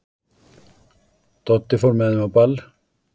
Doddi fór með þeim á ball.